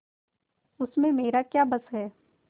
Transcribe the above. उसमें मेरा क्या बस है